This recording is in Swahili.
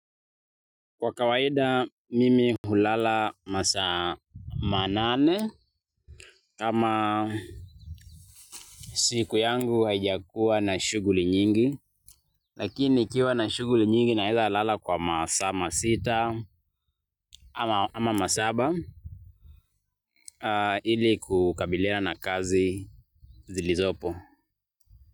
Kwa kawaida mimi hulala masaa manane, kama siku yangu haijakuwa na shughuli nyingi, lakini nikiwa na shughuli nyingi naweza nalala kwa masaa sita ama masaba. Ili kukabilina na kazi zilizopo.